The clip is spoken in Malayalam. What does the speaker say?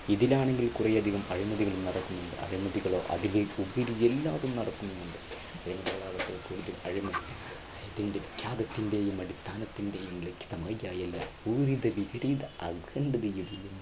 ഇതിൽ ആണെങ്കിൽ കുറെയധികം നടക്കുന്നുണ്ട് എല്ലാത്തിലും നടക്കുന്നുണ്ട് വിഖ്യാതത്തിന്റെയും, അടിസ്ഥാനത്തിന്റെയും .